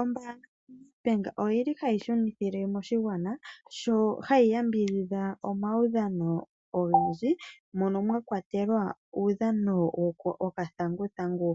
Ombanga yaNEDBANK ohayi yambidhidha aakwashigwana muudhano owundji ngaashi uudhano wokathangu thangu